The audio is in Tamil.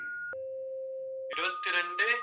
இருபத்தி இரண்டு